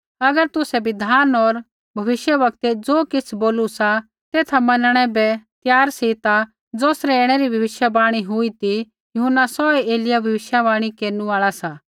अगर तुसै बिधान होर भविष्यवक्तै ज़ो किछ़ बोलू सा तेथा मनणै बै त्यार सी ता ज़ौसरै ऐणै री भविष्यवाणी हुई ती यूहन्ना सौहै एलिय्याह भविष्यवाणी केरनु आल़ा सा